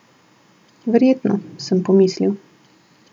Verjetno, sem pomislil.